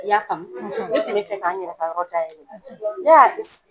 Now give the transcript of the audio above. y'a faamu ne kun bɛ fɛ k'an yɛrɛ ka yɔrɔ dayɛlɛ ne y'a